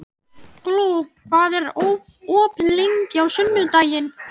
Gló, hvað er opið lengi á sunnudaginn?